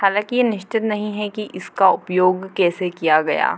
हालाँकि ये निश्चित नहीं है की इसका उपयोग कैसे किया गया।